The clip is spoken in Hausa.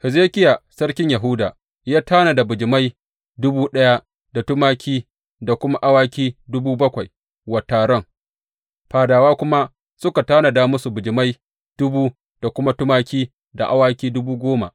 Hezekiya sarkin Yahuda ya tanada bijimai dubu ɗaya da tumaki da kuma awaki dubu bakwai wa taron, fadawa kuma suka tanada musu bijimai dubu da kuma tumaki da awaki dubu goma.